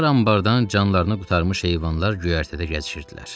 Dar anbardan canlarını qurtarmış heyvanlar göyərtədə gəzişirdilər.